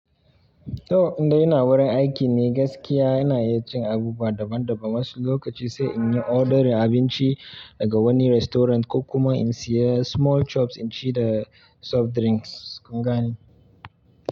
To inda ina wurin aiki ne gaskiya ina iya cin abubuwa daban daban wasu lokaci sai in yi order abinci daga wani restaurant ko kuma in siya small chops in ci da soft drinks, kun gane.